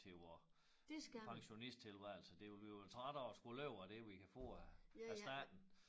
Til vor pensionisttilværelse det ville vi være trætte af at skulle leve af det vi kan få af af staten